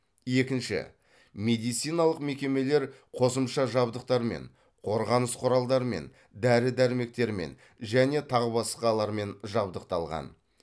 екінші медициналық мекемелер қосымша жабдықтармен қорғаныс құралдарымен дәрі дәрмектермен және тағы басқалармен жабдықталған